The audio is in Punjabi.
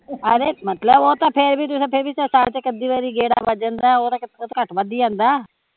ਅਰੇ ਮਤਲਬ ਓਹ ਤਾਂ ਫੇਰ ਵੀ ਤੁਸੀਂ ਸਾਲ ਚ ਇੱਕ ਅੱਧੀ ਵਾਰ ਗੇੜਾ ਵੱਜ ਜਾਂਦਾ ਐ, ਓਹ ਤਾਂ ਘੱਟ ਵੱਧ ਹੀਂ ਆਉਂਦਾ ਐ